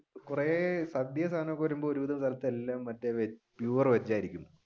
കുറെ സദ്യയും സാധനങ്ങൾ ഒക്കെ വരുമ്പോൾ pure veg ആയിരിക്കും.